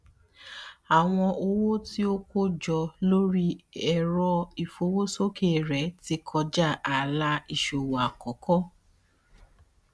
àwọn owó tí ó kó jọ lórí ẹrọ ìfowósókè rẹ ti kọjá ààlà ìsòwò àkọkọ